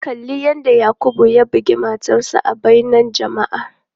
Kalli yadda Yakubu ya bugi matarsa ​​a bainar jama'a.